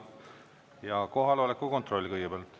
Ja kohaloleku kontroll kõigepealt.